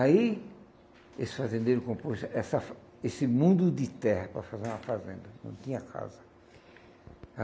Aí esse fazendeiro comprou esse essa esse mundo de terra para fazer uma fazenda, não tinha casa.